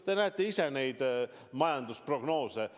Te näete ise neid majandusprognoose.